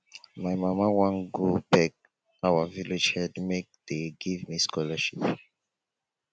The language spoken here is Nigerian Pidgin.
my mama wan go beg our village head make dey give me scholarship